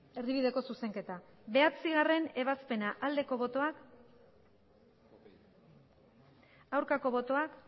erdibideko zuzenketa bederatzigarrena ebazpena aldeko botoak aurkako botoak